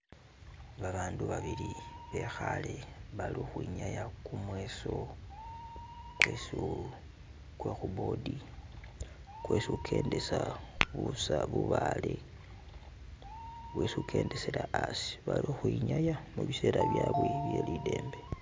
Babandu babili bekhale bali ukhwinaya kumweso kwe khu board kwesi ukendesa bubale bwesi ukendesela asi, bali ukhwinyaya mubisela byabwe bye lidembe .